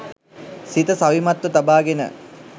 සිත සවිමත්ව තබාගෙන